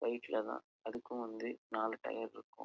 ஃப்ளைட்ல தான் அதுக்கும் வந்து நாலு டயர் இருக்கும்.